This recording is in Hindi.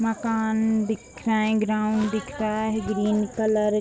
मकान दिख रहा है ग्राउंड दिख रहा है ग्रीन कलर |